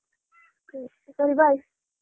ಸರಿ Bye .